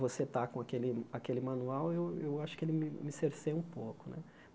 você estar com aquele aquele manual, eu eu acho que ele me me cerceia um pouco né.